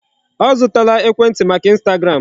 Ọ zụtala ekwentị maka Instagram.